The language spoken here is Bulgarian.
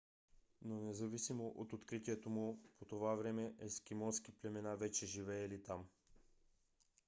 но независимо от откритието му по това време ескимоски племена вече живеели там